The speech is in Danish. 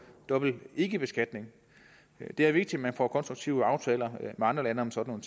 dobbelt ikkebeskatning det er vigtigt at man får konstruktive aftaler med andre lande om sådan